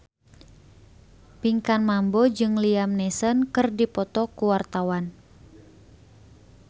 Pinkan Mambo jeung Liam Neeson keur dipoto ku wartawan